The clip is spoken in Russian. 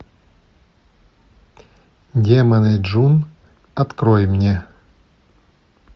демоны джун открой мне